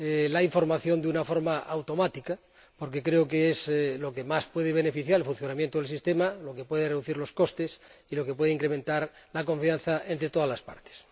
la información de una forma automática, porque creo que es lo que más puede beneficiar al funcionamiento del Sistema, lo que puede reducir los costes y lo que puede incrementar la confianza entre todas las partes.